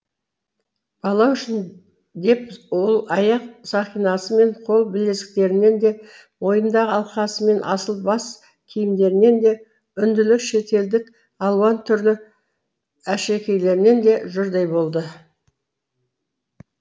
бала үшін деп ол аяқ сақинасы мен қол білезіктерінен де мойнындағы алқасы мен асыл бас киімдерінен де үнділік шетелдік алуан түрлі әшекейлерінен де жұрдай болды